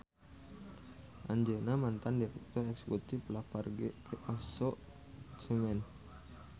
Anjeunna mantan direktur eksekutif Lafarge Aso Cement